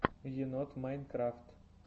енот майнкрафт